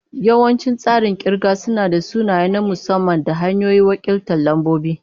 Yawancin tsarin kirga suna da sunaye na musamman da hanyoyin wakiltar lambobi.